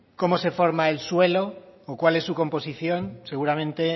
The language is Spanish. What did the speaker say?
cómo se forma el suelo o cuál es su composición seguramente